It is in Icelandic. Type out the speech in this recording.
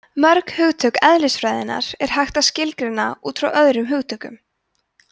mörg hugtök eðlisfræðinnar er hægt að skilgreina út frá öðrum hugtökum